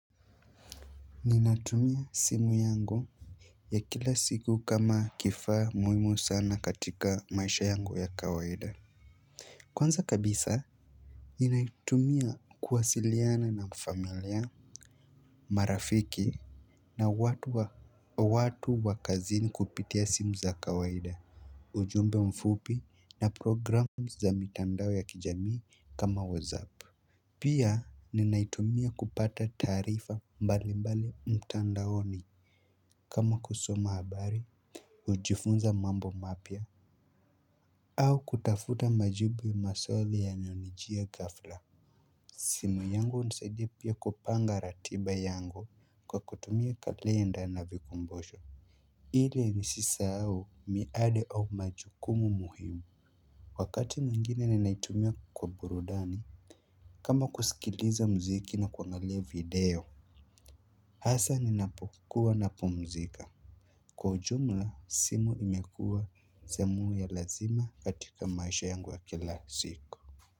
Ninatumia simu yangu ya kila siku kama kifaa muhimu sana katika maisha yangu ya kawaida. Kwanza kabisa ninaitumia kuwasiliana na familia. Marafiki na watu wa kazini kupitia simu za kawaida ujumbe mfupi na program za mitandao ya kijamii kama whatsapp. Pia ninaitumia kupata taarifa mbali mbali mtandaoni kama kusoma habari kujifunza mambo mapya au kutafuta majibu maswali yanayonijia ghafla. Simu yangu inanisaidia pia kupanga ratiba yangu kwa kutumia kalenda na vikumbusho ili nisisahau miadi au majukumu muhimu. Wakati mwingine ninaitumia kwa burudani kama kusikiliza mziki na kuangalia video hasa ninapokuwa napumzika. Kwa jumla, simu imekua zamu ya lazima katika maisha yangu ya kila siku.